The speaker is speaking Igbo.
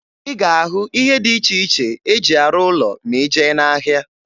Ị ga-ahụ ihe dị iche iche e ji arụ ụlọ ma ị jee n'ahịa.